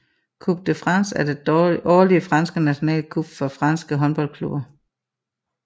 Coupe de France er det årlige fransk national cup for fransk håndboldklubber